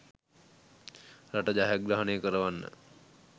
රට ජයග්‍රහණය කරවන්න.